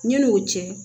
Ɲin'o cɛ